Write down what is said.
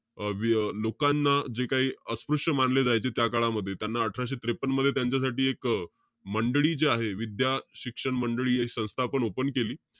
अं वि~ लोकांना काही अस्पृश्य मानले जायचे त्या काळामध्ये. त्यांना अठराशे त्रेपन्न मध्ये, त्यांच्यासाठी एक मंडळी जे आहे, विद्याशिक्षण मंडळी हे संस्थापन open केली.